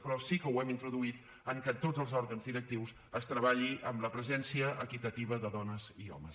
però sí que ho hem introduït en que a tots els òrgans directius es treballi amb la presència equitativa de dones i homes